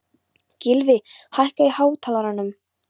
Gylfi, hækkaðu í hátalaranum.